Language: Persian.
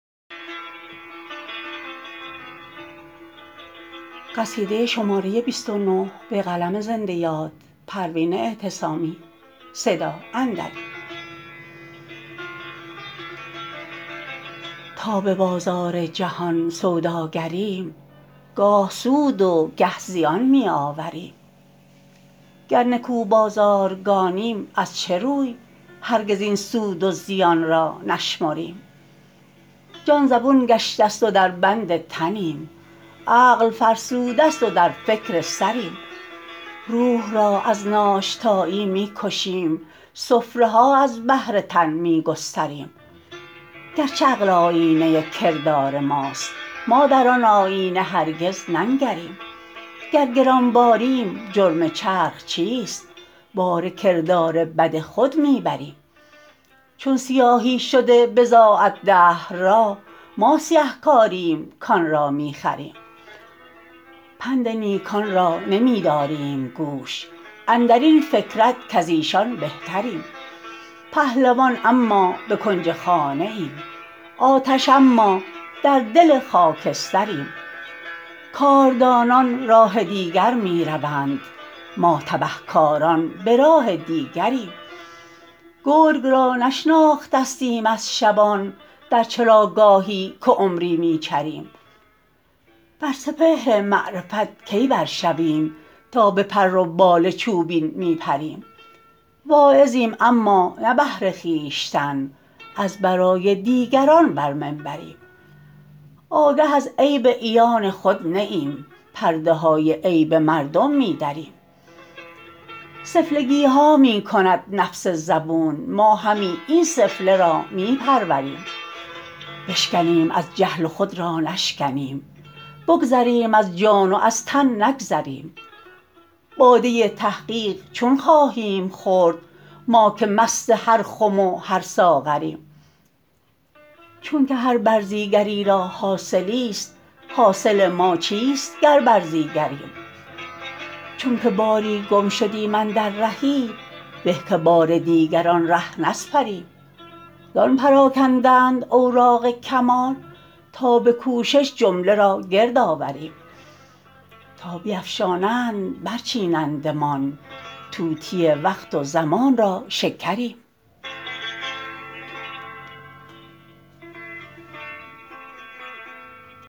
تا ببازار جهان سوداگریم گاه سود و گه زیان می آوریم گر نکو بازارگانیم از چه روی هرگز این سود و زیانرا نشمریم جان زبون گشته است و در بند تنیم عقل فرسوده است و در فکر سریم روح را از ناشتایی میکشیم سفره ها از بهر تن میگستریم گرچه عقل آیینه کردار ماست ما در آن آیینه هرگز ننگریم گر گرانباریم جرم چرخ چیست بار کردار بد خود میبریم چون سیاهی شده بضاعت دهر را ما سیه کاریم کانرا میخریم پند نیکان را نمیداریم گوش اندرین فکرت کازیشان بهتریم پهلوان اما بکنج خانه ایم آتش اما در دل خاکستریم کاردانان راه دیگر میروند ما تبه کاران براه دیگریم گرگ را نشناختستیم از شبان در چراگاهی که عمری میچریم بر سپهر معرفت کی بر شویم تا بپر و بال چوبین میپریم واعظیم اما نه بهر خویشتن از برای دیگران بر منبریم آگه از عیب عیان خود نه ایم پرده های عیب مردم میدریم سفلگیها میکند نفس زبون ما همی این سفله را میپروریم بشکنیم از جهل و خود را نشکنیم بگذریم از جان و از تن نگذریم باده تحقیق چون خواهیم خورد ما که مست هر خم و هر ساغریم چونکه هر برزیگری را حاصلی است حاصل ما چیست گر برزیگریم چونکه باری گم شدیم اندر رهی به که بار دیگر آن ره نسپریم زان پراکندند اوراق کمال تا بکوشش جمله را گرد آوریم تا بیفشانند بر چینندمان طوطی وقت و زمان را شکریم